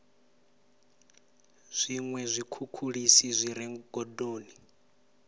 zwiṅwe zwikhukhulisi zwi re gondoni